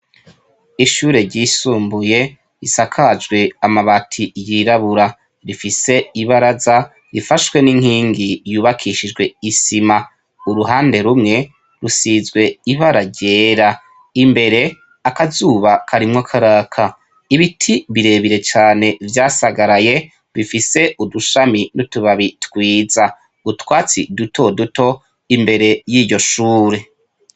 Ishure ryisumbuye isakajwe amabati yirabura rifise ibaraza rifashwe n'inkingi ryubakishijwe isima uruhande rumwe rusizwe ibara ryera imbere akazuba karimwo karaka ibiti birebire cane vyasagaraye bifise udushami n'utubabi twiza gutwatsi duto duto imbere y'iryo shure.